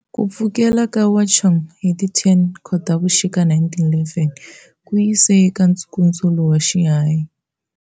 Ku pfukela ka Wuchang hi ti 10 Khotavuxika 1911 ku yise eka Nkutsulo wa Xinhai.